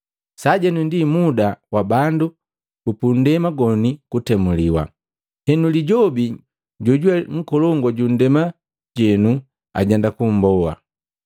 Sajenu ndi muda wa bandu bupunndema goni kutemuliwa, henu lijobi jojuwe nkolongu ja ndema jenu ajenda kumboa.